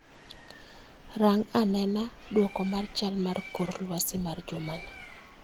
Rang anena duoko mar chal mar kor lwasi ma jumani